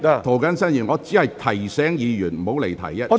涂謹申議員，我只是提醒委員不要離題，請坐下。